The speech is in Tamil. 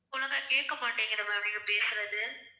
ஓழுங்க கேக்க மாட்டேங்கிது ma'am நீங்க பேசுறது